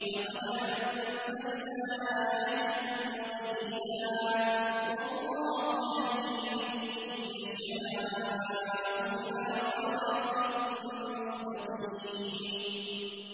لَّقَدْ أَنزَلْنَا آيَاتٍ مُّبَيِّنَاتٍ ۚ وَاللَّهُ يَهْدِي مَن يَشَاءُ إِلَىٰ صِرَاطٍ مُّسْتَقِيمٍ